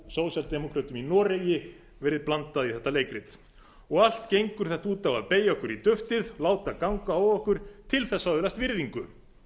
sósíaldemókrötum í noregi verið blandað í þetta leikrit allt gengur þetta út á að beygja okkur í duftið láta ganga á okkur til þess að öðlast virðingu